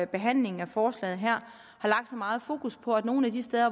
behandlingen af forslaget her har lagt så meget fokus på at nogle af de steder